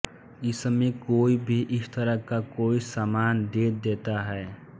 इसमें कोई भी इस तरह का कोई सामान दे देता है